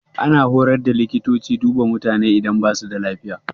Ana horar da likitoci duba mutane idan ba su da lafiya.